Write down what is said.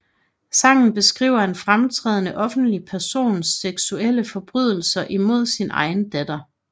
Sangen beskriver en fremtrædende offentlig persons seksuelle forbrydelser imod sin egen datter